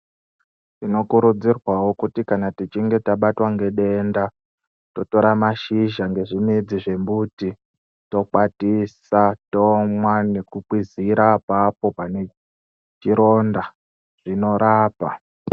Tinokurudzirwavo kuti kana tichinge tabatwa ngedenda totora mashizha nezvimidzi zvembiti. Tokwatisa tomwa nekukwizira apapo pane chironda zvinorapa.